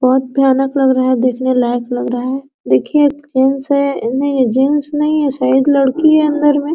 बहोत भयानक लग रहा है देखने लायक लग रहा है देखिए एक जेंट्स है नहीं ये जेंट्स नहीं है शायद लड़की है अंदर में।